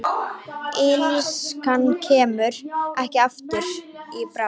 Illskan kemur ekki aftur í bráð.